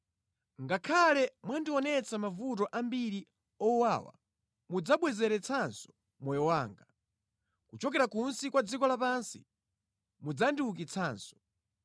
Ngakhale mwandionetsa mavuto ambiri owawa, mudzabwezeretsanso moyo wanga; kuchokera kunsi kwa dziko lapansi, mudzandiukitsanso.